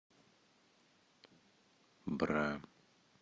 бра